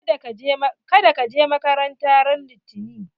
Kada ka je makaranta ran litani!